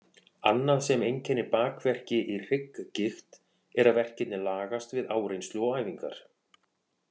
Annað sem einkennir bakverki í hrygggigt er að verkirnir lagast við áreynslu og æfingar.